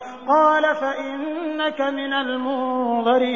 قَالَ فَإِنَّكَ مِنَ الْمُنظَرِينَ